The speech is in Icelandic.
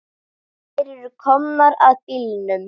Þær eru komnar að bílnum.